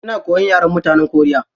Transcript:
Ina koyan yaren mutanen koriya.